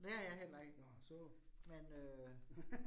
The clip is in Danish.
Det har jeg heller ikke. Men øh